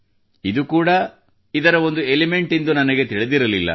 ಇದು ಕೂಡಾ ಇದರ ಒಂದು ಎಲಿಮೆಂಟ್ ಎಂದು ನನಗೆ ತಿಳಿದಿರಲಿಲ್ಲ